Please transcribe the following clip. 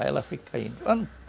Aí ela foi caindo.